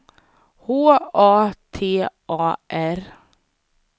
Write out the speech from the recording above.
H A T A R